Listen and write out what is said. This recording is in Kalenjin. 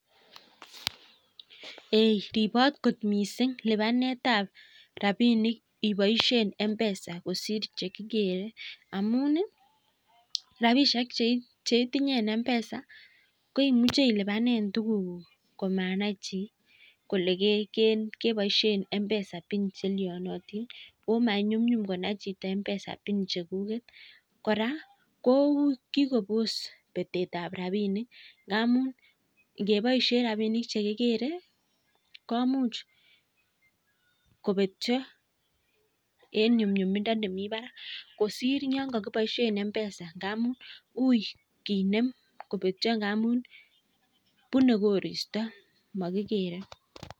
Hee ribot kot missing libanetab rabinik ibaishen mpesa kosir chekikere amuun ih rabinik cheitinye en mpesa koimuche iluban tuguk kuk komanai chi kole kebaisien mpesa pin chelianotin Ako manyunyum konai chito mpesa pin chekuket . Kora kokikobos betetab rabinik ngamun, komuch kobetyo en nyumnyumindo nemi barak kosir Yoon kakiboisien mpesa, hui ko betyo ngamun bune korista magikere